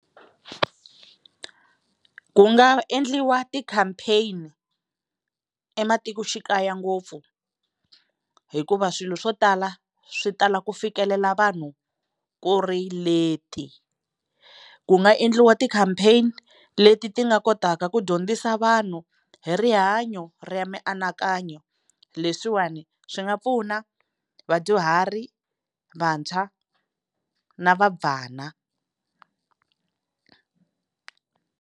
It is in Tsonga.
Ku nga endliwa ti-campaign-i ematikoxikaya ngopfu hikuva swilo swo tala swi tala ku fikelela vanhu ku ri late. Ku nga endliwa ti-campaign-i leti ti nga kotaka ku dyondzisa vanhu hi rihanyo ra mianakanyo leswiwani swi nga pfuna vadyuhari, vantshwa na vabvana.